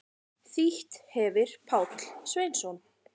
Þýtt hefir Páll Sveinsson.